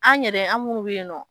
An yɛrɛ an munnu' bɛ yen nɔ.